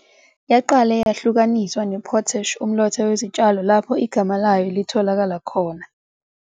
Yaqale yahlukaniswa ne- potash, umlotha wezitshalo, lapho igama layo litholakala khona.